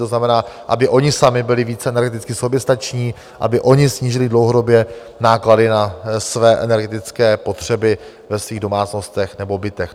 To znamená, aby oni sami byli více energeticky soběstační, aby oni snížili dlouhodobě náklady na své energetické potřeby ve svých domácnostech nebo bytech.